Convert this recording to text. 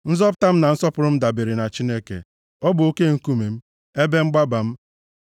Nzọpụta m na nsọpụrụ m dabeere na Chineke, + 62:7 Maọbụ, Chineke nke kachasị ihe niile elu, bụ nzọpụta m na ugwu m Ọ bụ oke nkume m, ebe mgbaba m.